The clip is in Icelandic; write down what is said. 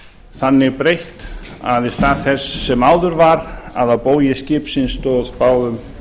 þannig breytt að í stað þess sem áður var að á bógi skipsins stóð báðum